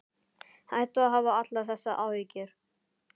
Hættu að hafa allar þessar áhyggjur.